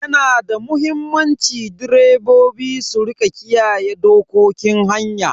Yana da muhimmanci direbobi su rika kiyaye dokokin hanya.